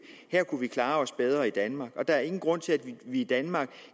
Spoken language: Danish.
her kunne vi klare os bedre i danmark der er ingen grund til at vi i danmark